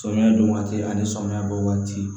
Samiya don waati ani samiya bɔ waati